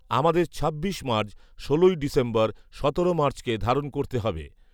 আমাদের ছাব্বিশ মার্চ, ষোল ডিসেম্বর, সতেরো মার্চকে ধারণ করতে হবে